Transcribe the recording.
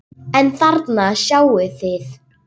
Hann hætti líka að vaxa.